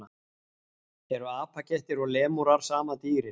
Eru apakettir og lemúrar sama dýrið?